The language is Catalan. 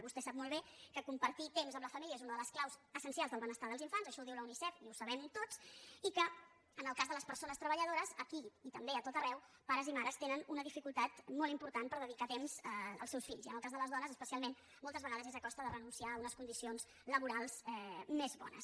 vostè sap molt bé que compartir temps amb la família és una de les claus essencials del benestar dels infants això ho diu la unicef i ho sabem tots i que en el cas de les persones treballadores aquí i també a tot arreu pares i mares tenen una dificultat molt important per dedicar temps als seus fills i en el cas de les dones especialment moltes vegades és a costa de renunciar a unes condicions laborals més bones